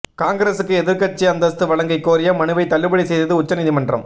காங்கிரசுக்கு எதிர்க்கட்சி அந்தஸ்து வழங்கக் கோரிய மனுவை தள்ளுபடி செய்தது உச்ச நீதிமன்றம்